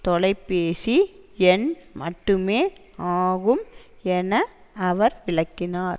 தொலைபேசி எண் மட்டுமே ஆகும் என அவர் விளக்கினார்